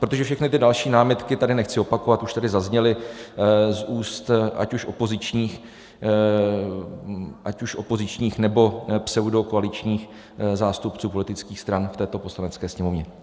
Protože všechny ty další námitky tady nechci opakovat, už tady zazněly z úst ať už opozičních, nebo pseudokoaličních zástupců politických stran v této Poslanecké sněmovně.